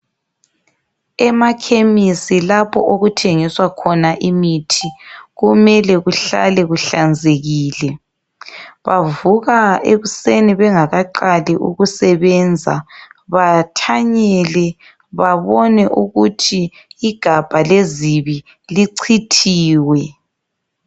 Emakhemisi lapho okuthengiswa khona imithi kumele kuhlale kuhlanzekile. Bavuka ekuseni bengakaqali ukusebenza bathanyele, babone ukuthi igabha lezibi lichithiwe.